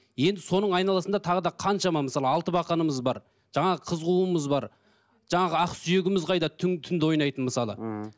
енді соның айналасында тағы да қаншама мысалы алтыбақанымыз бар жаңағы қыз қуумыз бар жаңағы ақсүйегіміз қайда түнде ойнайтын мысалы ммм